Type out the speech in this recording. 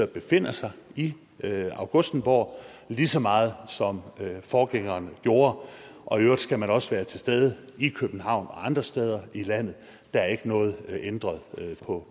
befinder sig i augustenborg lige så meget som forgængeren gjorde og i øvrigt skal man også være til stede i københavn og andre steder i landet der er ikke noget ændret